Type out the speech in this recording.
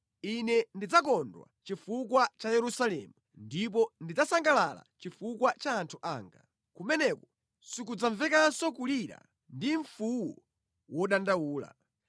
Ine ndidzakondwa chifuwa cha Yerusalemu ndipo ndidzasangalala chifukwa cha anthu anga. Kumeneko sikudzamvekanso kulira ndi mfuwu wodandaula.